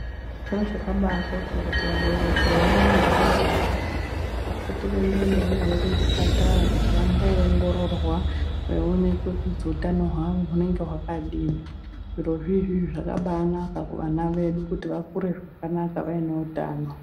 Chiro chakabaakosha kuti vabereki vane vana vadodori vayana vapote veimboendawo navo kuzvipatara kuti vambongororwa veionekwe kuti utano hwavo hunenge hwakadini zvirozviizvi zvakabaanaka kuvana vedu kuti vakure zvakanaka vaine utano.